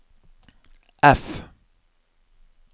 F